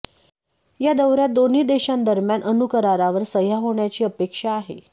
या दौर्यात दोन्ही देशांदरम्यान अणुकरारावर सह्या होण्याची अपेक्षा आहे